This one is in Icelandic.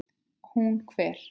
Hún hver?